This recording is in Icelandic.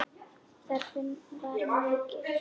Þörfin var mikil.